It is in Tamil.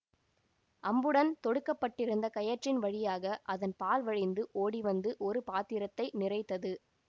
அம்புடன் தொடுக்கப்பட்டிருந்த கயிற்றின் வழியாக அதன் பால் வழிந்து ஓடிவந்து ஒரு பாத்திரத்தை நிறைத்தது